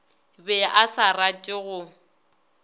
be a sa rate go